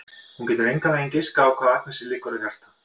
Hún getur engan veginn giskað á hvað Agnesi liggur á hjarta.